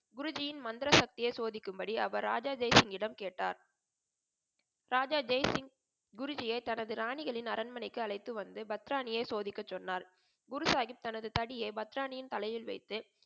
குருஜியின் மந்திர சக்தியை சோதிக்கும் படி அவர் ராஜா ஜெய் சிங்கிடம் கேட்டார். ராஜா ஜெய் சிங்க் குருஜியை தனது ராணிகளின் அரண்மனைக்கு அழைத்து வந்து பத்ராணியை சோதிக்க சொன்னார். குரு சாஹிப் தனது தடியை பத்ரானியின் தலையில் வைத்து